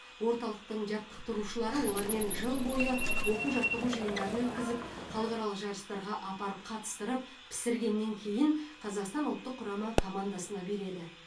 орталықтың жаттықтырушылары олармен жыл бойы оқу жаттығу жиындарын өткізіп халықаралық жарыстарға апарып қатыстырып пісіргеннен кейін қазақстан ұлттық құрама командасына береді